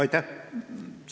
Aitäh!